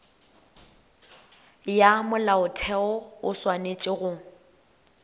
ya molaotheo o swanetše go